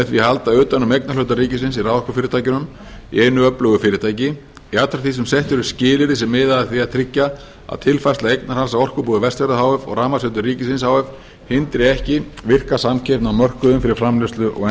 því að halda utan um eignarhluta ríkisins í raforkufyrirtækjunum í einu öflugu fyrirtæki jafnframt því sem sett eru skilyrði sem skilyrði sem miða að því að tryggja að tilfærsla eignarhalds á orkubúi vestfjarða h f og rafmagnsveitum ríkisins hindri ekki virka samkeppni á mörkuðum fyrir framleiðslu og